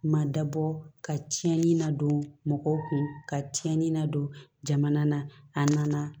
Ma dabɔ ka tiɲɛni na don mɔgɔw kun ka cɛnni na don jamana na a nana